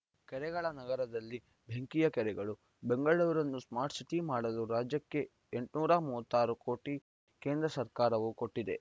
ಕೆರೆಗಳ ನಗರದಲ್ಲಿ ಬೆಂಕಿಯ ಕೆರೆಗಳು ಬೆಂಗಳೂರನ್ನು ಸ್ಮಾರ್ಟ್‌ ಸಿಟಿ ಮಾಡಲು ರಾಜ್ಯಕ್ಕೆ ಎಂಟುನೂರ ಮೂವತ್ತ್ ಆರು ಕೋಟಿ ಕೇಂದ್ರ ಸರ್ಕಾರವು ಕೊಟ್ಟಿದೆ